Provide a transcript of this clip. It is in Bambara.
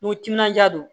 Ni timinandiya don